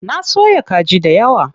Na soya kaji dayawa.